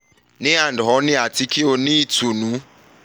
nandhoney ati ki o yoo ni itunu